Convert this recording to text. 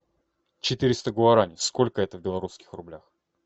четыреста гуарани сколько это в белорусских рублях